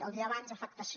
el dia abans afectació